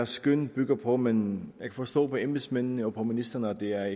skøn bygger på men jeg kan forstå på embedsmændene og på ministeren at det er